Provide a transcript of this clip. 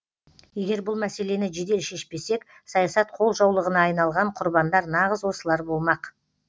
егер бұл мәселені жедел шешпесек саясат қолжаулығына айналған құрбандар нағыз осылар болмақ